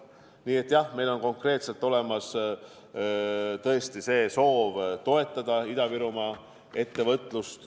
Nii et jah, meil on konkreetselt olemas tõesti soov toetada Ida-Virumaa ettevõtlust.